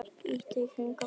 líttu í kringum þig